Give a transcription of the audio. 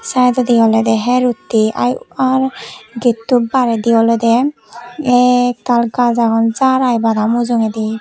sidedodi olede her utti are gettu baredi olode ektal gaj agon jar ai mujogedi.